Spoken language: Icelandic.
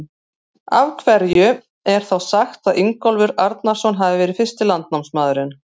Af hverju er þá sagt að Ingólfur Arnarson hafi verið fyrsti landnámsmaðurinn?